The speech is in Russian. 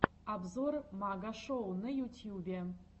обзор магашоу на ютьюбе